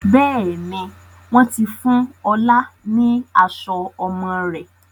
Bẹ́ẹ̀ni, wọn ti fún ọ̀la ni aṣọ ọmọ rẹ̀